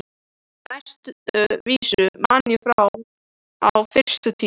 Næstu vísu man ég frá fyrstu tíð.